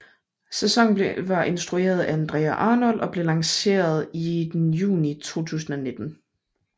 Sæsonen var instrueret af Andrea Arnold og blev lanceret i juni 2019